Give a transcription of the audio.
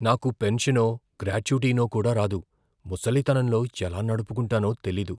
నాకు పెన్షనో, గ్రాట్యుటీనో కూడా రాదు, ముసలితనంలో ఎలా నడుపుకుంటానో తెలీదు.